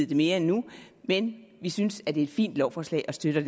det mere endnu men vi synes at det er et fint lovforslag og støtter